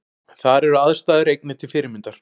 Þar eru aðstæður einnig til fyrirmyndar